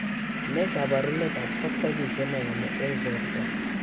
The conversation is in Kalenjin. Ne kaabarunetap Factor V chemoyame eng' borto?